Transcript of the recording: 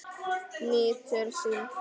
Nýtur sín.